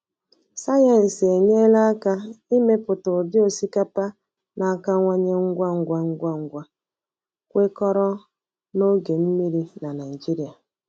Sayensị enyela aka imepụta ụdị osikapa na-akawanye ngwa ngwa, ngwa ngwa, kwekọrọ na oge mmiri na Naịjirịa.